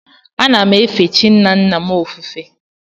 Ana m efe chi nna nna m ofufe.